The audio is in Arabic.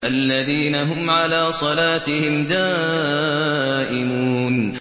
الَّذِينَ هُمْ عَلَىٰ صَلَاتِهِمْ دَائِمُونَ